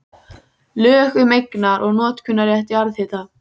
Lög um eignar- og notkunarrétt jarðhita.